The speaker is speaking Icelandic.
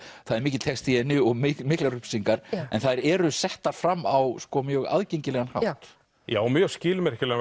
það er mikill texti í henni og miklar upplýsingar en þær eru settar fram á mjög aðgengilegan hátt já mjög skilmerkilegan